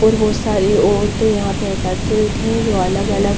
और बहुत सारी औरतें यहां पर एकत्रित हैं जो अलग-अलग--